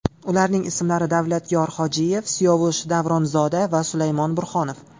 Ularning ismlari Davlatyor Hojiyev, Siyovush Davronzoda va Sulaymon Burxonov.